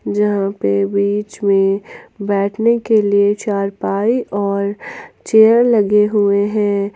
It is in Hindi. जहां पे बीच में बैठने के लिए चारपाई और चेयर लगे हुए हैं।